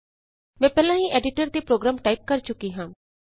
ਮੈਂ ਪਹਿਲਾਂ ਹੀ ਐਡੀਟਰ ਤੇ ਪ੍ਰੋਗਰਾਮ ਟਾਈਪ ਕਰ ਚੁੱਕੀ ਹਾਂ